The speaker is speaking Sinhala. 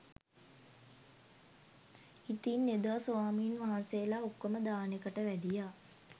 ඉතින් එදා ස්වාමීන් වහන්සේලා ඔක්කොම දානෙකට වැඩියා